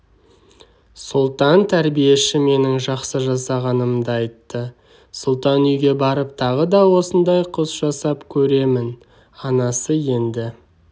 сұлтан тәрбиеші менің жақсы жасағанымды айтты сұлтан үйге барып тағы да осындай құс жасап көремін анасы енді